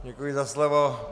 Děkuji za slovo.